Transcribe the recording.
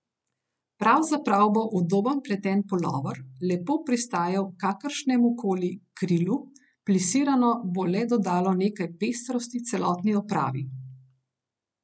Pravzaprav bo udoben pleten pulover lepo pristajal kakršnemukoli krilu, plisirano bo le dodalo nekaj pestrosti celotni opravi.